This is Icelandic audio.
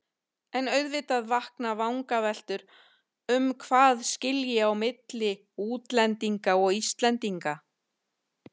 En auðvitað vakna vangaveltur um hvað skilji á milli útlendinga og Íslendinga.